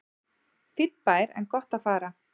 Fínn bær en gott að fara